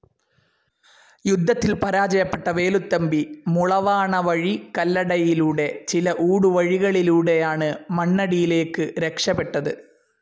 യുദ്ധത്തിൽ പരാജയപ്പെട്ട വേലുത്തമ്പി മുളവാണ വഴി കല്ലടയിലൂടെ ചില ഊടുവഴികളിലൂടെയാണ് മണ്ണടിയിലേക്കു രക്ഷപെട്ടത്.